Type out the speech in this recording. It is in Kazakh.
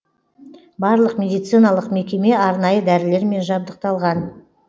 барлық медициналық мекеме арнайы дәрілермен жабдықталған